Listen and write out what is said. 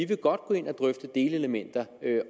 vil godt gå ind og drøfte delelementer